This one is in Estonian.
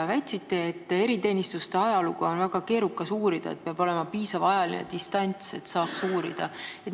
Te väitsite, et eriteenistuste ajalugu on väga keerukas uurida ja et peab olema piisav ajaline distants, et saaks seda teha.